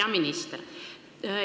Hea minister!